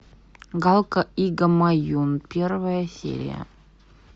галка и гамаюн первая серия